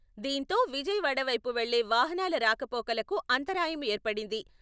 దీంతో విజయవాడ పైపు వెళ్లే వాహనాల రాకపోకలకు అంతరాయం ఏర్పడింది.